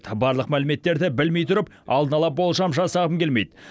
барлық мәліметтерді білмей тұрып алдын ала болжам жасағым келмейді